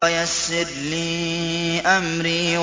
وَيَسِّرْ لِي أَمْرِي